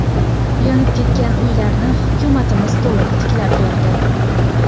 Yonib ketgan uylarni hukumatimiz to‘liq tiklab berdi.